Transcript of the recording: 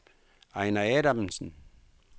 Ejner Adamsen